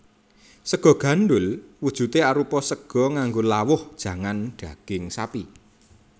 Sega gandhul wujudé arupa sega nganggo lawuh jangan daging sapi